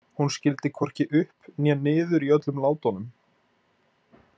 Hún skildi hvorki upp né niður í öllum látunum.